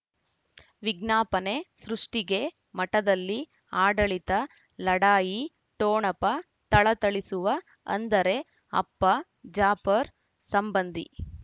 ವಿಜ್ಞಾಪನೆ ಸೃಷ್ಟಿಗೆ ಮಠದಲ್ಲಿ ಆಡಳಿತ ಲಢಾಯಿ ಠೊಣಪ ಥಳಥಳಿಸುವ ಅಂದರೆ ಅಪ್ಪ ಜಾಫರ್ ಸಂಬಂಧಿ